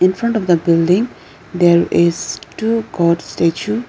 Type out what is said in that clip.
in front of the building there is two god statue.